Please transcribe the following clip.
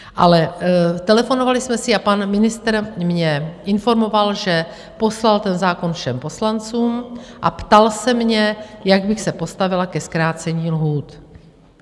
Ale telefonovali jsme si a pan ministr mě informoval, že poslal ten zákon všem poslancům, a ptal se mě, jak bych se postavila ke zkrácení lhůt.